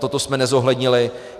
Toto jsme nezohlednili.